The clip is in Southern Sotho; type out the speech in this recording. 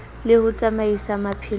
le ho tsamaisa maphelo a